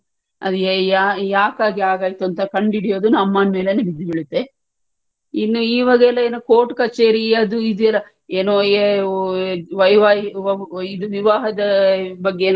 ಅದ್ ಯಾ~ ಯಾಕ್ ಹಾಗೆ ಹಾಗಾಯ್ತು ಅಂತ ಕಂಡುಹಿಡಿಯುದು ಅಮ್ಮನ್ ಮೇಲೇನೆ ಬೀಳುತ್ತೆ ಇನ್ನು ಈವಾಗೆಲ್ಲಾ ಏನೂ court ಕಚೇರಿ ಅದು ಇದು ಎಲ್ಲಾ ಏನೂ ಇದು ವಿವಾಹದ್ ಬಗ್ಗೆ,